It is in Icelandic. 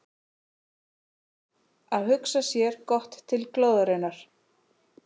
Að hugsa sér gott til glóðarinnar